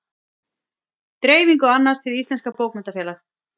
Dreifingu annast Hið íslenska bókmenntafélag.